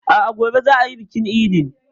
A'a, gobe za a yi bikin idin.